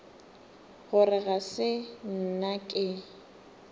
gore ga se nna ke